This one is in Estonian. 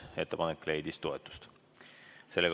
Ettepanek leidis toetust.